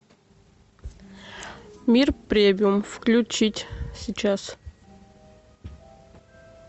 мир премиум включить сейчас